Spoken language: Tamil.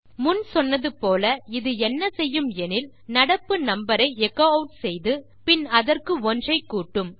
முன் சொன்னது போல இது என்ன செய்யும் எனில் நடப்பு நம்பர் ஐ எச்சோ ஆட் செய்து பின் அதற்கு 1 ஐ கூட்டும்